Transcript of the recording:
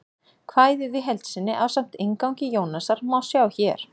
Kvæðið í heild sinni, ásamt inngangi Jónasar, má sjá hér.